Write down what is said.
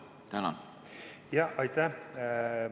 Aitäh!